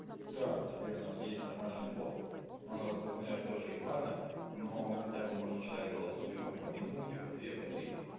всё теперь у нас есть нормальные бот но он распознает тоже ебано но он хотя бы можешь читать голосовые там по минуте по две по три